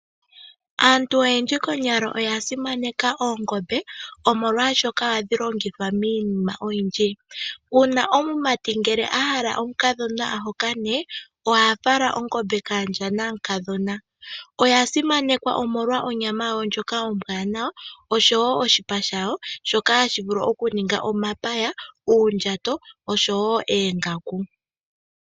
Aantu oyendji konyala oya simaneka oongombe, omolwashoka ohadhi longithwa miinima oyindji. Uuna omumati ngele a hala omukadhona a hokane, oha fala ongombe kaandja namukadhona. Oya simanekwa, omolwa onyama yawo ndjoka ombwanawa, osho wo oshipa shawo shoka hashi vulu okuninga omapaya, uundjato, osho wo oongaku.